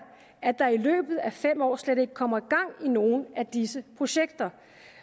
at der i løbet af fem år slet ikke kommer gang i nogen af disse projekter